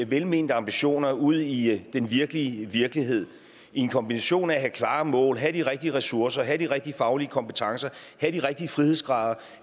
velmente ambitioner ud i i den virkelige virkelighed i en kombination af at have klare mål have de rigtige ressourcer have de rigtige faglige kompetencer have de rigtige frihedsgrader